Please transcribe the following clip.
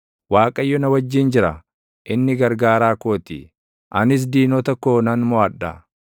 Waaqayyo na wajjin jira; inni gargaaraa koo ti. Anis diinota koo nan moʼadha.